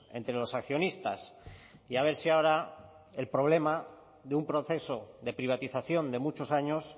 entre los accionistas y a ver si ahora el problema de un proceso de privatización de muchos años